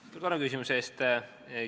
Suur tänu küsimuse eest!